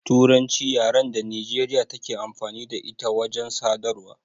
Turanci ce yaran da Nijeriya take amfani da ita wajen sadarwa